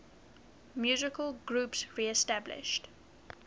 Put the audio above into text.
musical groups reestablished